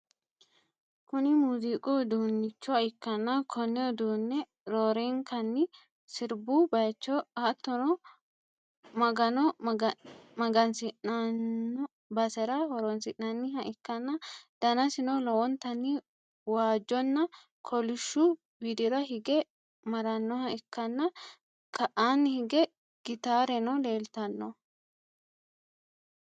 kuni muuziiqu uduunnicho ikkanna, konne uduunne roorenkanni sirbu bayicho hattono, magano magansi'nannoi basera horonsi'nanniha ikkanna, danasino lowontanni waajjonna kolishshu widira hige marannoha ikkann, ka'aanni hige gitaareno leeltanno.